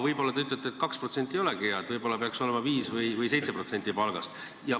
Võib-olla te ütlete, et 2% palgast ei olegi hea, võib-olla peaks säästma 5% või 7% palgast.